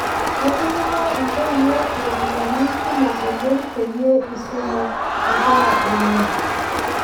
Ketipika intoieuo iropiyiani kumok oleng' peyie isumu inkera enye